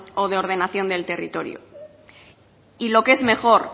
o de ordenación del territorio y lo que es mejor